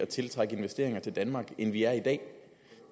til at trække investeringer til danmark end vi er i dag